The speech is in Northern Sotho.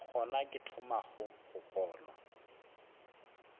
gona ke thomago go kgolwa